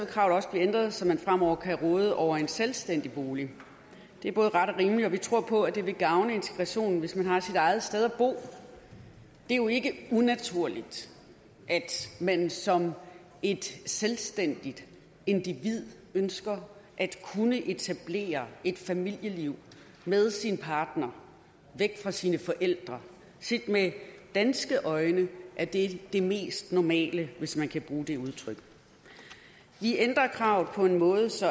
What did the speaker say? kravet også blive ændret så man fremover kan råde over en selvstændig bolig det er både ret og rimeligt og vi tror på at det vil gavne integrationen hvis man har sit eget sted at bo det er jo ikke unaturligt at man som et selvstændigt individ ønsker at kunne etablere et familieliv med sin partner væk fra sine forældre set med danske øjne er det det mest normale hvis man kan bruge det udtryk vi ændrer kravet på en måde så